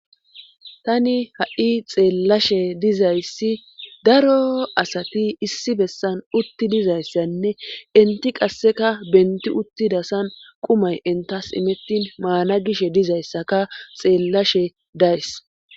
tani ha7i xeellashe dizayssi daro asati issi bessan utti dizayssanne inti qasseka benti uttidasan qumay intas imettin maana gish dizayssaka xeellashe days